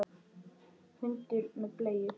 Hundur með bleiu!